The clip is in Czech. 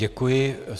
Děkuji.